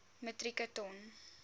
metrieke ton